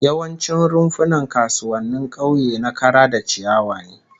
Yawancin rumfunan kasuwannin kauye na kara da ciyawa ne